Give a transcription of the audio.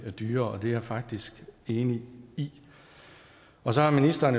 dyre det er jeg faktisk enig i og så har ministeren